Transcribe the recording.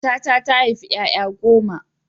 Matata ta haifi ƴaƴa goma.